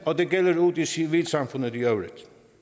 og det gælder ude i civilsamfundet i øvrigt